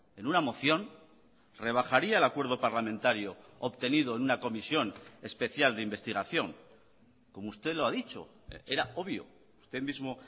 en una moción rebajaría el acuerdo parlamentario obtenido en una comisión especial de investigación como usted lo ha dicho era obvio usted mismo